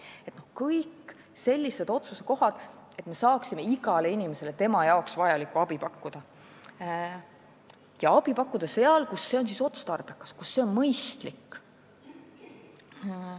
Need on kõik sellised otsusekohad, et me saaksime igale inimesele vajalikku abi pakkuda, ja pakkuda seda seal, kus see on otstarbekas ja mõistlik.